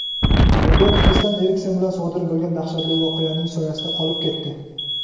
mag‘lubiyat Kristian Eriksen bilan sodir bo‘lgan dahshatli voqeaning soyasida qolib ketdi.